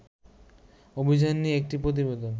অভিযান নিয়ে একটি প্রতিবেদন